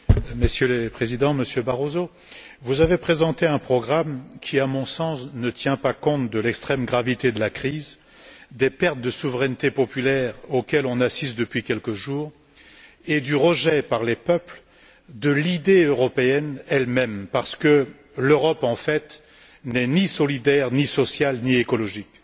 Monsieur le Président, Monsieur Barroso, vous avez présenté un programme qui, à mon sens, ne tient pas compte de l'extrême gravité de la crise, des pertes de souveraineté populaire auxquelles nous assistons depuis quelques jours et du rejet par les peuples de l'idée européenne elle même, parce que l'Europe, en fait, n'est ni solidaire, ni sociale, ni écologique.